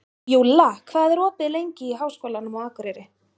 Júlla, hvað er opið lengi í Háskólanum á Akureyri?